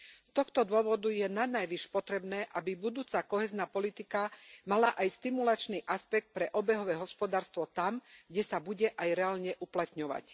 Z tohto dôvodu je nanajvýš potrebné, aby budúca kohézna politika mala aj stimulačný aspekt pre obehové hospodárstvo tam, kde sa bude aj reálne uplatňovať.